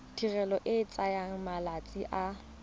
tirelo e tsaya malatsi a